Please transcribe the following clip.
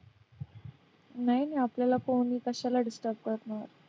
नाही नाही आपल्याला कोणी कशाला disturb करणार?